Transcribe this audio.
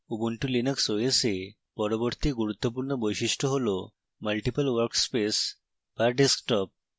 ubuntu linux os এ পরবর্তী গুরুত্বপূর্ণ বৈশিষ্ট্য হল multiple workspace the desktop